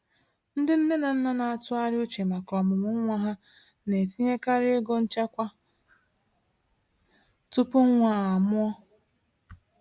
Ndị nne na nna na-atụgharị uche maka ọmụmụ nwa ha na-etinyekarị ego nchekwa tupu nwa a mụọ.